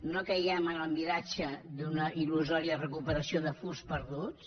no caiguem en el miratge d’una il·lusòria recuperació de furs perduts